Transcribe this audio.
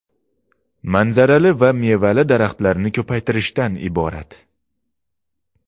manzarali va mevali daraxtlarni ko‘paytirishdan iborat.